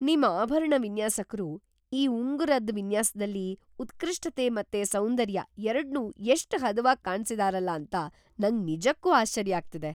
ನಿಮ್ ಆಭರಣ ವಿನ್ಯಾಸಕ್ರು ಈ ಉಂಗುರದ್ ವಿನ್ಯಾಸ್ದಲ್ಲಿ ಉತ್ಕೃಷ್ಟತೆ ಮತ್ತೆ ಸೌಂದರ್ಯ ಎರಡ್ನೂ ಎಷ್ಟ್ ಹದವಾಗ್‌ ಕಾಣ್ಸಿದಾರಲ ಅಂತ ನಂಗ್‌ ನಿಜಕ್ಕೂ ಆಶ್ಚರ್ಯ ಆಗ್ತಿದೆ.